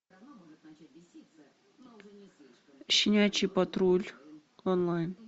щенячий патруль онлайн